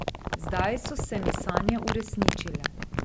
Zdaj so se mi sanje uresničile.